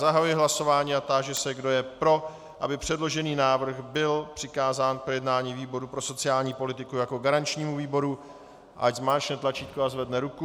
Zahajuji hlasování a táži se, kdo je pro, aby předložený návrh byl přikázán k projednání výboru pro sociální politiku jako garančnímu výboru, ať zmáčkne tlačítko a zvedne ruku.